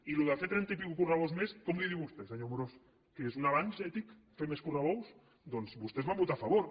i d’això de fer trenta correbous i escaig més com en diu vostè senyor amorós què és un avanç ètic fer més correbous doncs vostès hi van votar a favor